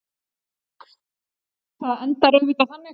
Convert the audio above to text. Það endar auðvitað þannig.